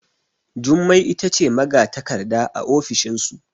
Jummai ita ce magatakarda a ofishinsu